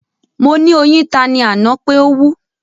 Mo ni oyin ta ni ana pe o wú